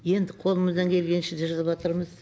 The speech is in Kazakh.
енді қолымыздан келгенше жасаватырмыз